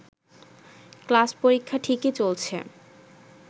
class পরীক্ষা ঠিকই চলছে